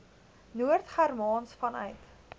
noord germaans vanuit